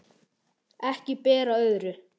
Ekki ber á öðru